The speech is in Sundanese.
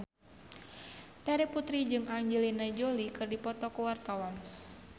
Terry Putri jeung Angelina Jolie keur dipoto ku wartawan